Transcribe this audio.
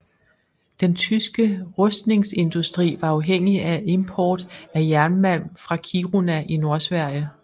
Den tyske rustningsindustri var afhængig af import af jernmalm fra Kiruna i Nordsverige